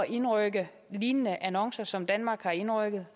indrykke lignende annoncer som danmark har indrykket